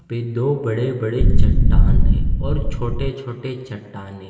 पे दो बड़े बड़े चट्टान है और छोटे छोटे चट्टाने--